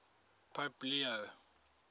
pope leo